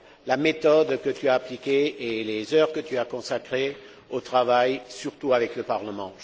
la méthode que tu as appliquée et les heures que tu as consacrées à ce travail, en particulier avec le Parlement.